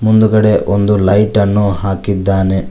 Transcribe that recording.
ಮುಂದುಗಡೆ ಒಂದು ಲೈಟ್ ಅನ್ನು ಹಾಕಿದ್ದಾನೆ.